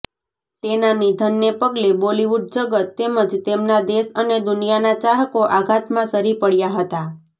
તેના નિધનને પગલે બોલિવૂડ જગત તેમજ તેમના દેશ અને દુનિયાના ચાહકો આઘાતમાં સરી પડ્યા હતા